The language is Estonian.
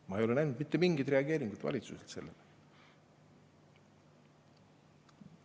Ma ei ole näinud valitsuselt sellele mitte mingit reageeringut.